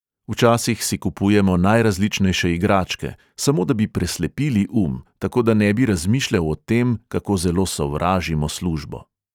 Včasih si kupujemo najrazličnejše igračke, samo da bi preslepili um, tako da ne bi razmišljal o tem, kako zelo sovražimo službo.